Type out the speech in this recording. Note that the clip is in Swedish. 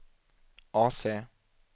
AC